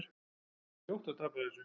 Það var ljótt að tapa þessu.